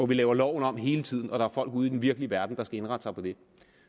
vi laver loven om hele tiden og der er folk ude i den virkelige verden der skal indrette sig på det